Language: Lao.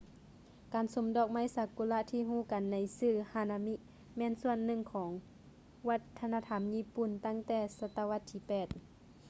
ການຊົມດອກຊາກຸຣະທີ່ຮູ້ກັນໃນຊື່ hanami ແມ່ນສ່ວນໜຶ່ງຂອງວັດທະນະທຳຍີ່ປຸ່ນຕັ້ງແຕ່ສະຕະວັດທີ 8